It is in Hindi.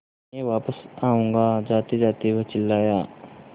मैं वापस आऊँगा जातेजाते वह चिल्लाया